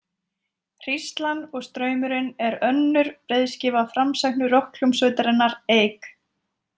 Hríslan og straumurinn er önnur breiðskífa framsæknu rokkhljómsveitarinnar Eik.